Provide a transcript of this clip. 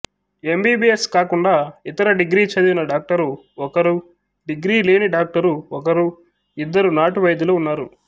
MBBS కాకుండా ఇతర degree చదివిన డాక్టరు ఒకరు డిగ్రీ లేని డాక్టరు ఒకరు ఇద్దరు నాటు వైద్యులు ఉన్నారు